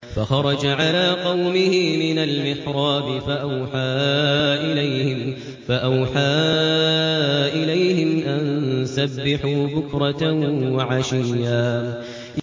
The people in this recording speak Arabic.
فَخَرَجَ عَلَىٰ قَوْمِهِ مِنَ الْمِحْرَابِ فَأَوْحَىٰ إِلَيْهِمْ أَن سَبِّحُوا بُكْرَةً وَعَشِيًّا